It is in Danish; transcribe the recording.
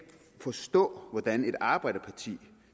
forstå hvordan et arbejderparti